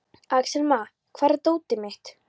Axelma, hvar er dótið mitt?